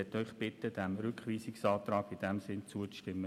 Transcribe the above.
Ich bitte den Rat, diesem Rückweisungsantrag zuzustimmen.